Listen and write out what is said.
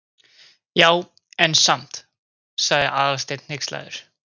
Já, en samt sagði Aðalsteinn hneykslaður.